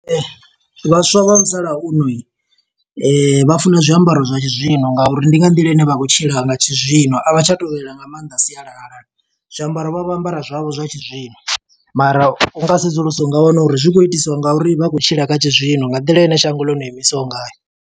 Vhaswa vha musalauno vha funa zwiambaro zwa tshizwino, nga uri ndi nga nḓila ine vha khou tshila nga tshizwino. A vha tsha tovhela nga maanḓa sialala, zwiambaro vha vho ambara zwavho zwa tshizwino. Mara unga sedzulusa unga wana uri zwi khou itiswa nga uri vha khou tshila kha tshizwino, nga nḓila ine shango ḽo no imisaho ngayo.